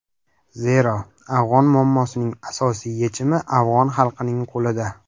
Zero, afg‘on muammosining asosiy yechimi afg‘on xalqining qo‘lida.